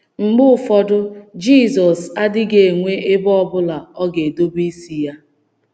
Mgbe ụfọdụ, Jizọs adịghị enwe “ ebe ọ bụla ọ ga-edobe isi ya. ”